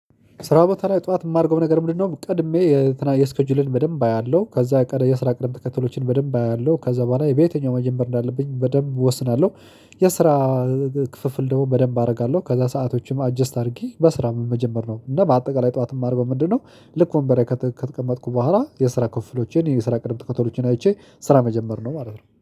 ስራ ቦታ ላይ ጠዋት የማደርገው ነገር ምንድነው? ቀድሜ የስራ ሰኬጁሌን በደንብ አያለሁ ከዛ የስራ ቅድም ተከትሎችን በደንብ አያለሁ ከዛ በኋላ በየትኛው መጀመር እንዳለብኝ በደንብ እወስናለሁ። የስራ ክፍፍል ደግሞ በደንብ አደርጋለሁ ከዛ ሰአቶችም አጀስት አድርጊ በስራ ምን መጀመር ነው። እና በአጠቃላይ ጠዋት እማርገወው በምንድነው? ልክ ወንበር ከተቀመጥኩ በኋላ የስራ ክፍፍሎቼን የስራ ቅድም ተከተሎቼን አይቼ ስራ መጀመር ነው ማለት ነው